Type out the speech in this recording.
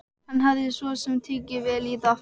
Hann hafði svo sem tekið vel í það.